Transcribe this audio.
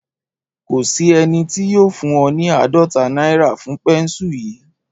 Kò sí ẹni tí yóò fún ọ ní àádọ́ta náírà fún pẹ́ńsù yìí